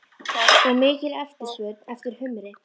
Og mikil eftirspurn eftir humri?